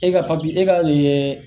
E ka e ka